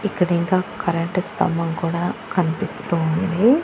ఇక్కడ ఇంకా కరెంటు స్తంభం కూడా కనిపిస్తూ ఉంది.